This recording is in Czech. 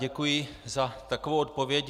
Děkuji za takovou odpověď.